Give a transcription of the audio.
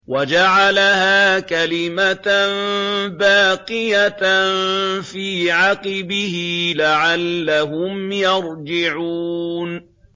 وَجَعَلَهَا كَلِمَةً بَاقِيَةً فِي عَقِبِهِ لَعَلَّهُمْ يَرْجِعُونَ